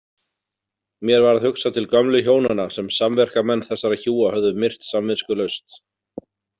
Mér varð hugsað til gömlu hjónanna sem samverkamenn þessara hjúa höfðu myrt samviskulaust.